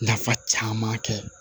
Nafa caman kɛ